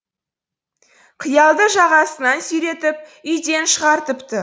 қиялды жағасынан сүйретіп үйден шығартыпты